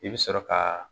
I bɛ sɔrɔ ka